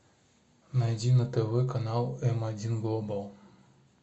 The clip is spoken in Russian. найди на тв канал м один глобал